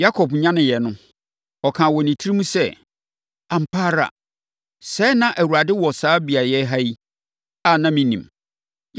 Yakob nyaneeɛ no, ɔkaa wɔ ne tirim sɛ, “Ampa ara, sɛɛ na Awurade wɔ saa beaeɛ ha yi, a na mennim!”